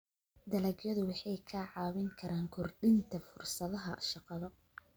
Dalagyadu waxay kaa caawin karaan kordhinta fursadaha shaqada.